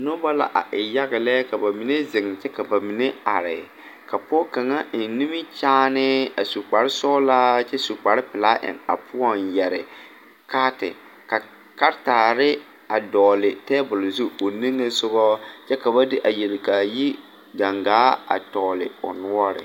Nobɔ la a e yage lɛ ka ba mine zeŋ kyɛ ka ba mine are ka pɔɔ kaŋa eŋ nimikyaane a su kparesɔglaa kyɛ su kparepelaa eŋ a poɔŋ yɛre kaati karetaare a dɔɔle tabole zu o niŋesugɔ kyɛ ka ba de a yelkaayi gaŋaa a tɔgle l noɔre.